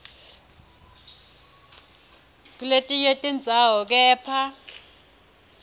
kuletinye tindzawo kepha